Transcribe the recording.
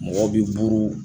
Mɔgɔw bi buru